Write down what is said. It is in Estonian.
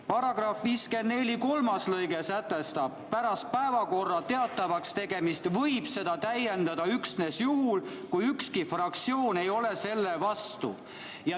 Paragrahvi 54 kolmas lõige sätestab, et pärast päevakorra teatavakstegemist võib seda täiendada üksnes juhul, kui ükski fraktsioon ei ole selle vastu.